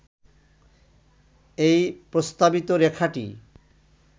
এই প্রস্তাবিত রেখাটি